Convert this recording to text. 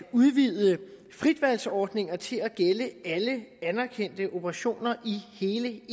udvide fritvalgsordningerne til at gælde alle anerkendte operationer i hele